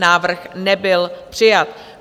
Návrh nebyl přijat.